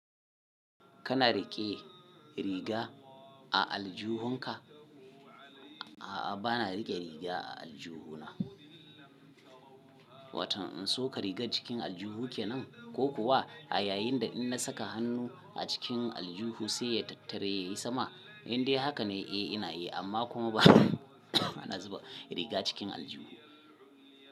Kana riƙe riga a aljihunka? A'a bana riƙe riga a aljihu na. Watan in so ka riga cikin aljihu ke nan, ko kuwa a yayinda in na saka hannu a cikin aljihu sai ya tattare yayi sama, indai haka ne Eh ina yi amma kuma ba bana zuba riga cikin aljihu.